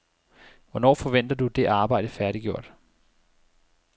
Hvornår forventer du det arbejde færdiggjort?